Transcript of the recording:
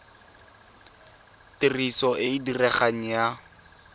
tiriso e e diregang ya